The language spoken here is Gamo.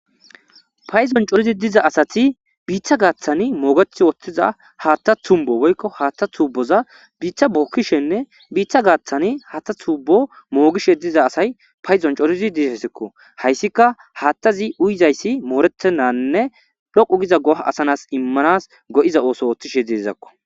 payzon corizi diza asati biiththa gaaththani moogeth oothtiza haatta tumbo woykko haatta tuuboza biiththa bookkishenne biiththa gaaththani hatta tuubo moogishe diza asay payzon corizi disesekko hayssika haatta zi uyizayssi moorettennanne dhoqu giza goh asanas immanas go7iza ooso ooththishe dezakko